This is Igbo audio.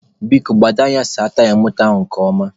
Biko, gbado anya saa taya moto a nke ọma.